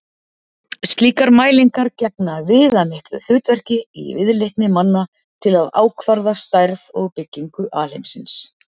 Slíkar mælingar gegna viðamiklu hlutverki í viðleitni manna til að ákvarða stærð og byggingu alheimsins.